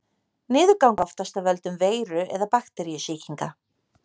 Niðurgangur er oftast af völdum veiru- eða bakteríusýkinga.